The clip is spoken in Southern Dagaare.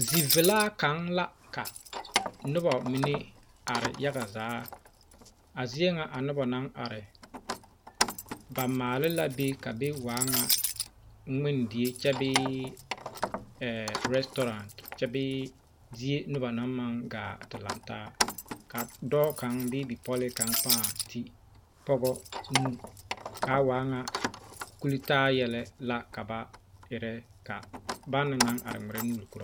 Zivelaa kaŋa la ka noba mine are yaga zaa a zie ŋa a noba naŋ are ba maale la be ka be waa ŋa ŋmendie kyɛ bee orɛsɔɔraa kyɛ bee be noba naŋ kaŋ gaa te lantaa ka dɔɔ kaŋ kyɛ bee bipɔlee paa do pɔgɔ kaŋa nu kaa waa ŋa kultaa yɛlɛ la ka ba erɛ kaa banaŋ naŋ are ŋmeɛrɛ nu koɔrɔ ba